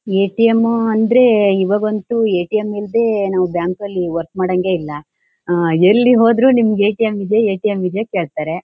A T M ಅಂದ್ರೆ ಇವಾಗಂತೂ A T M ಇಲ್ದೆ ನಾವು ಬ್ಯಾಂಕ್ ಅಲ್ಲಿ ವರ್ಕ್ ಮಾಡಂಗೆ ಇಲ್ಲಾ. ಅಹ್ ಎಲ್ಲಿಗ್ ಹೋದ್ರು ನಿಮಿಗ್ A T M A T M ಕೇಳ್ತಾರೆ.